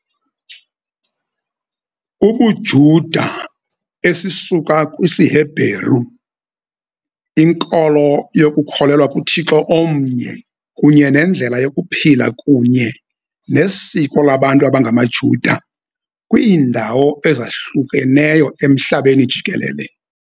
UbuJuda, esisuka kwisiHebhereu, inkolo yokukholelwa kuThixo omnye kunye nendlela yokuphila kunye nesiko labantu abangamaJuda kwiindawo ezahlukeneyo emhlabeni jikelele.